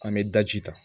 An bɛ daji ta